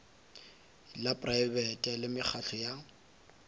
la praebete le mekgatlo ya